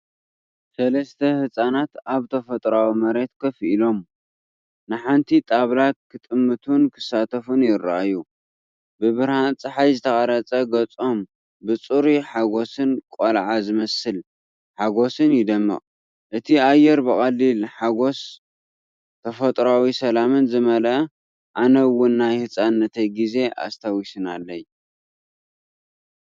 ሰለስተ ህጻናት ኣብ ተፈጥሮኣዊ መሬት ኮፍ ኢሎም፡ ንሓንቲ ጣብላ ክጥምቱን ክሳተፉን ይረኣዩ። ብብርሃን ጸሓይ ዝተቐርጸ ገጾም ብጽሩይ ሓጎስን ቆልዓ ዝመስል ሓጎስን ይደምቕ፤ እቲ ኣየር ብቐሊል ሓጐስን ተፈጥሮኣዊ ሰላምን ዝመልአ ኣነ ውን ናይ ህፃንነተይ ጊዜ ኣስታዊሰናለይ።